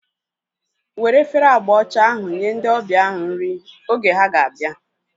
Were efere agba ọcha ahu nye ndị ọbịa ahu nri oge ha ga-abịa